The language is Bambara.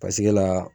Paseke la